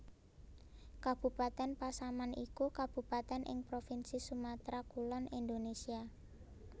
Kabupatèn Pasaman iku kabupatèn ing provinsi Sumatra Kulon Indonésia